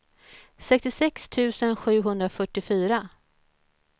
sextiosex tusen sjuhundrafyrtiofyra